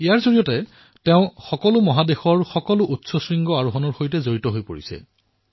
ইয়াৰ অধীনত সকলো মহাদ্বীপৰ সবাতোকৈ ওখ শৃংগ জয় কৰাৰ পদক্ষেপ গ্ৰহণ কৰা হৈছে